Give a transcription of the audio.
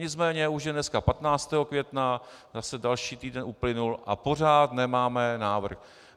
Nicméně už je dneska 15. května, zase další týden uplynul a pořád nemáme návrh.